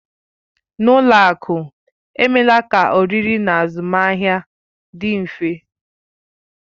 N'ụlọ akụ emeela ka oririe na azụmahịa dị mfe.